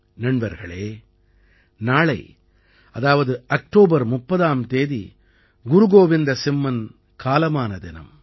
நண்பர்களே நாளை அதாவது அக்டோபர் 30ஆம் தேதி குரு கோவிந்த சிம்மன் காலமான தினம்